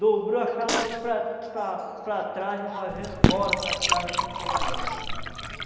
Dobrou a canoa para para para trás e nós viemos embora para casa sem pegar nada.